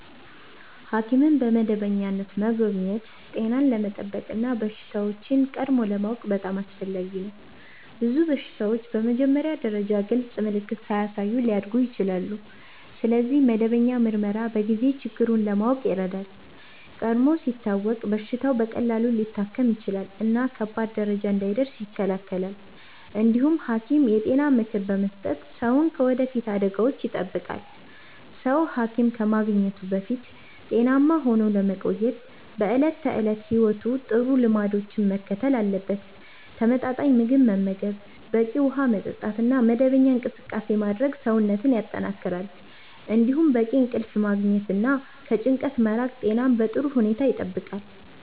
ሐኪምን በመደበኛነት መጎብኘት ጤናን ለመጠበቅ እና በሽታዎችን ቀድሞ ለማወቅ በጣም አስፈላጊ ነው። ብዙ በሽታዎች በመጀመሪያ ደረጃ ግልጽ ምልክት ሳያሳዩ ሊያድጉ ይችላሉ፣ ስለዚህ መደበኛ ምርመራ በጊዜ ችግሩን ለማወቅ ይረዳል። ቀድሞ ሲታወቅ በሽታው በቀላሉ ሊታከም ይችላል እና ከባድ ደረጃ እንዳይደርስ ይከላከላል። እንዲሁም ሐኪም የጤና ምክር በመስጠት ሰውን ከወደፊት አደጋዎች ይጠብቃል። ሰው ሐኪም ከማግኘቱ በፊት ጤናማ ሆኖ ለመቆየት በዕለት ተዕለት ሕይወቱ ጥሩ ልምዶችን መከተል አለበት። ተመጣጣኝ ምግብ መመገብ፣ በቂ ውሃ መጠጣት እና መደበኛ እንቅስቃሴ ማድረግ ሰውነትን ያጠናክራሉ። እንዲሁም በቂ እንቅልፍ ማግኘት እና ከጭንቀት መራቅ ጤናን በጥሩ ሁኔታ ይጠብቃል።